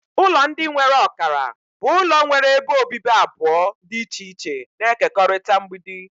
Ụlọ ndị nwere ọkara bụ ụlọ nwere ebe obibi abụọ dị iche iche na-ekekọrịta mgbidi.